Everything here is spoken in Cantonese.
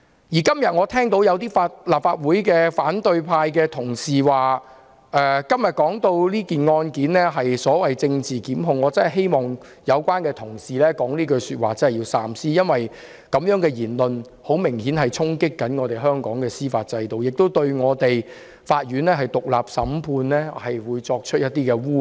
我今天又聽到有反對派同事說這案件是政治檢控，我真的希望說出這句話的同事要三思，因為這種言論明顯衝擊香港的司法制度，亦污衊了獨立審判案件的法院。